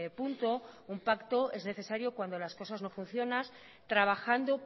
punto un pacto es necesario cuando las cosas no funcionan trabajando